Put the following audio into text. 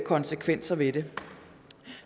konsekvenser ved det